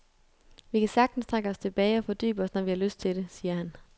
Vi kan sagtens trække os tilbage og fordybe os når vi har lyst til det, siger han.